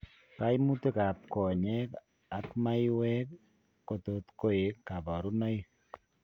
Kaimutik ab konyeek ak maiwek kotot koik kabarunoik